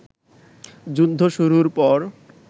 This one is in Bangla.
যুদ্ধ শুরুর পর